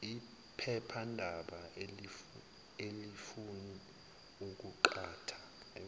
iphephandaba alifuni ukuqhatha